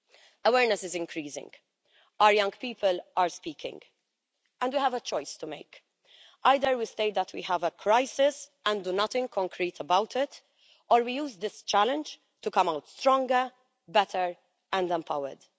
Awareness is increasing, our young people are speaking, and we have a choice to make. Either we say that we have a crisis and do nothing concrete about it or we use this challenge to come out stronger, better and empowered.